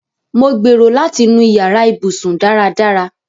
Mo gbérò̀ láti nú ìyàrà ìbùṣún. dáràdárà.